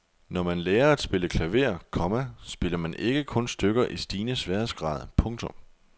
Når man lærer at spille klaver, komma spiller man ikke kun stykker i stigende sværhedsgrad. punktum